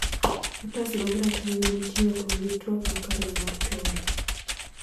Otas mag ratiro manitie ok nigi twak makare mar tonge